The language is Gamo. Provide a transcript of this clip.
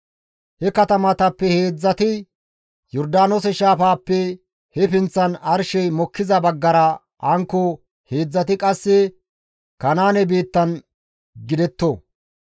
He katamatappe heedzdzati Yordaanoose shaafaappe he pinththan arshey mokkiza baggara hankko heedzdzati qasse Kanaane biittan gidetto.